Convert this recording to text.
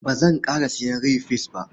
Ba zanƙara sayen rai-fes ba.